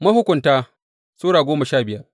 Mahukunta Sura goma sha biyar